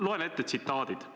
Loen ette tsitaadid.